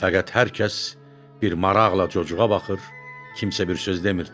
Fəqət hər kəs bir maraqla cocuğa baxır, kimsə bir söz demirdi.